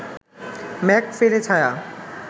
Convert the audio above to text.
মেঘ ফেলে ছায়া